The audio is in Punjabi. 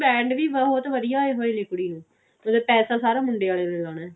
band ਵੀ ਬਹੁਤ ਵਧੀਆ ਆਏ ਹੋਏ ਨੇ ਕੁੜੀ ਨੂੰ ਮਤਲਬ ਪੈਸਾ ਸਾਰਾ ਮੁੰਡੇ ਆਲੇ ਨੇ ਲਾਉਣਾ